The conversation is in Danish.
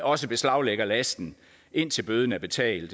også beslaglægger lasten indtil bøden er betalt